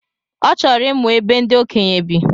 Ọ chọrọ ịmụ ebe ndi okenye bi